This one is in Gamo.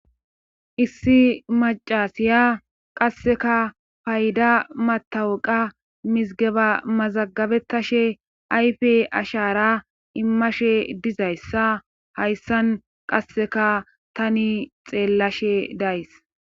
Issi macasiya qasseka payda matawaqa mizgeba mazagabettashe ayfe ashara immashe dizayssa hayssan qasseka tani xeellashe days.